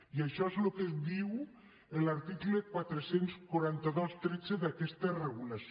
i això és el que diu l’article quatre cents i quaranta dos tretze d’aquesta regulació